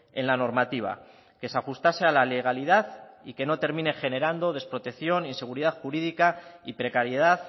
en la normativa que se ajustase a la legalidad y que no termine generando desprotección inseguridad jurídica y precariedad